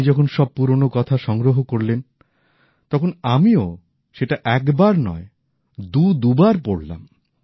আপনি যখন সব পুরোনো কথা সংগ্রহ করলেন তখন আমিও সেটা একবার নয় দুদুবার পড়লাম